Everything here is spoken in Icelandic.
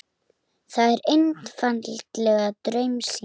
Það er einfaldlega draumsýn.